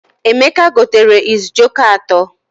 Emeka gotere is jioko atọ.